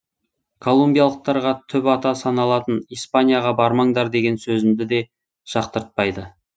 колумбиялықтарға түп ата саналатын испанияға бармаңдар деген сөзімді де жақтыртпайды